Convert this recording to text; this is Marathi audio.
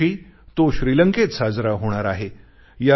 यावर्षी तो श्रीलंकेत साजरा होणार आहे